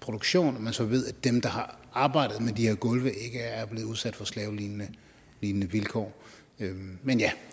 produktion så ved man at dem der har arbejdet med de her gulve ikke er blevet udsat for slavelignende vilkår men ja